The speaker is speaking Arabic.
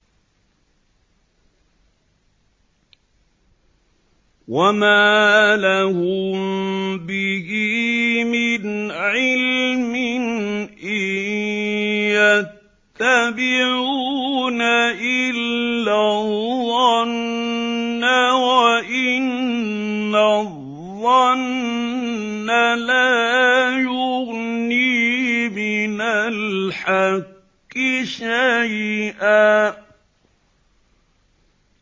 وَمَا لَهُم بِهِ مِنْ عِلْمٍ ۖ إِن يَتَّبِعُونَ إِلَّا الظَّنَّ ۖ وَإِنَّ الظَّنَّ لَا يُغْنِي مِنَ الْحَقِّ شَيْئًا